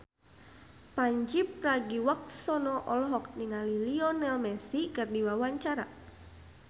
Pandji Pragiwaksono olohok ningali Lionel Messi keur diwawancara